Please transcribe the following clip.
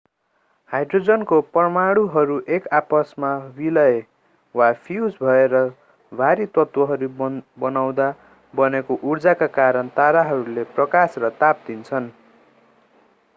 Hydrogen परमाणुहरू एक आपसमा विलय वा फ्यूज भएर भारी तत्वहरू बनाउँदा बनेको उर्जाका कारण ताराहरूले प्रकाश र ताप दिन्छन्।